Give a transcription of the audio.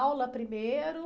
Aula primeiro?